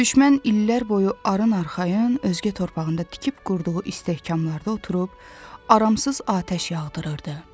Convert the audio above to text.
Düşmən illər boyu arın arxayın özgə torpağında tikib qurduğu istehkamlarda oturub, aramsız atəş yağdırırdı.